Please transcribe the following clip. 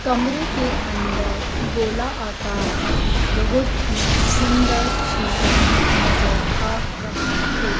कमरे के अंदर गोला आकार का एक बहुत ही सुंदर सीसा नजर आ रहा है।